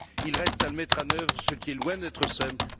il reste à le mettre en oeuvre, ce qui est loin d'être simple.